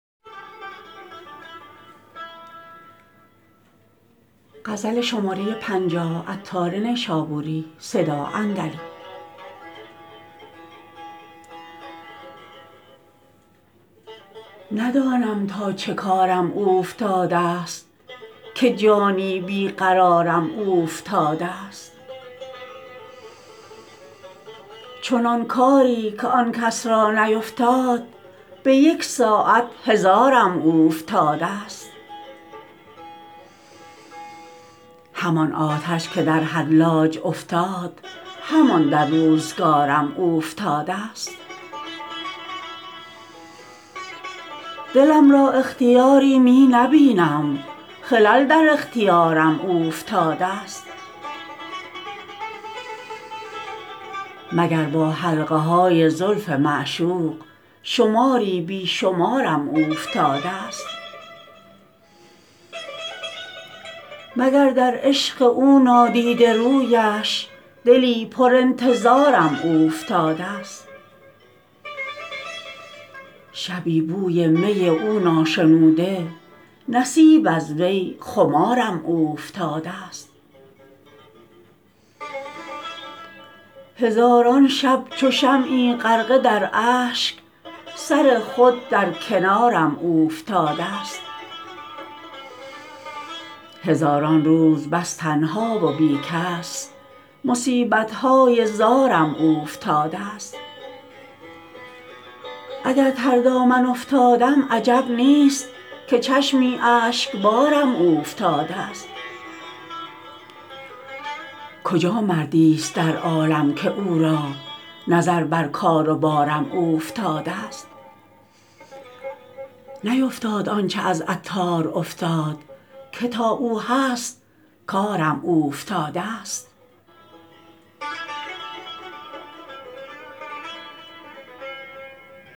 ندانم تا چه کارم اوفتادست که جانی بی قرارم اوفتادست چنان کاری که آن کس را نیفتاد به یک ساعت هزارم اوفتادست همان آتش که در حلاج افتاد همان در روزگارم اوفتادست دلم را اختیاری می نبینم خلل در اختیارم اوفتادست مگر با حلقه های زلف معشوق شماری بی شمارم اوفتادست مگر در عشق او نادیده رویش دلی پر انتظارم اوفتادست شبی بوی می او ناشنوده نصیب از وی خمارم اوفتادست هزاران شب چو شمعی غرقه در اشک سر خود در کنارم اوفتادست هزاران روز بس تنها و بی کس مصیبت های زارم اوفتادست اگر تر دامن افتادم عجب نیست که چشمی اشکبارم اوفتادست کجا مردی است در عالم که او را نظر بر کار و بارم اوفتادست نیفتاد آنچه از عطار افتاد که تا او هست کارم اوفتادست